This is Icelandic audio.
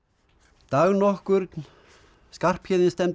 dag nokkurn Skarphéðin stefndi út á